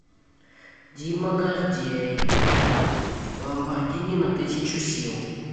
дима гордей ламборгини на тысячу сил